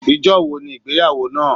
Ijọ́ wo ni ìgbéyàwó náà?